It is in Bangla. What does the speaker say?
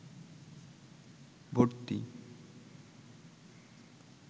ভর্তি